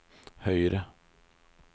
høyre